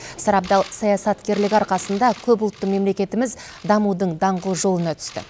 сарабдал саясаткерлігі арқасында көпұлтты мемлекетіміз дамудың даңғыл жолына түсті